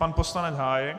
Pan poslanec Hájek.